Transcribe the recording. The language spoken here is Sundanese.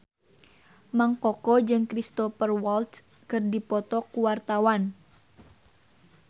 Mang Koko jeung Cristhoper Waltz keur dipoto ku wartawan